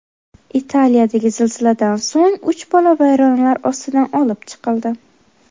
Italiyadagi zilziladan so‘ng uch bola vayronalar ostidan olib chiqildi.